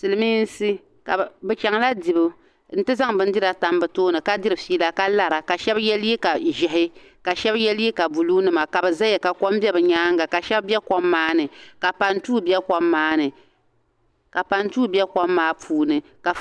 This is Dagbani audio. Silmiinsi ka bi chaŋ la dibu n ti zaŋ bindira tam bi tooni ka diri fiila ka lara ka shɛba yɛ liiga ʒiɛhi ka shɛba yɛ liiga buluu nima ka bi zaya ka kɔm bɛ bi nyaanga ka shɛba bɛ kɔm maa ni ka pantuu bɛ kɔm maa ni ka pantuu bɛ kɔm maa puuni ka.